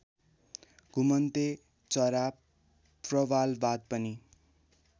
घुमन्ते चरा प्रवालवाद पनि